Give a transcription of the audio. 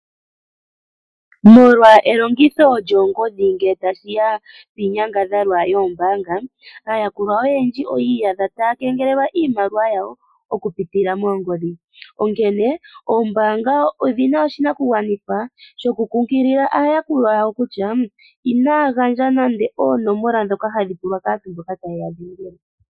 Molwa elongitho lyoongodhi ngele tashiya piinyangadhalwa yoombaanga aayakulwa oyendji oyi iyadha taya kengelelwa iimaliwa yawo okupitila moongodhi. Oombaanga odhina oshinakugwanithwa shokulondodha aayakulwa yawo kutya inaya gandja nande oonomola ndhoka hadhi pulwa kaantu mboka taye yadhengele.